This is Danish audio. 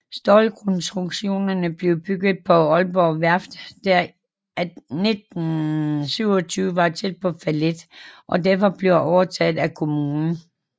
Stålkonstruktionerne blev bygget på Aalborg Værft der i 1927 var tæt på fallit og derfor blev overtaget af kommunen